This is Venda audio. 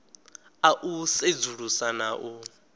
a u sedzulusa na u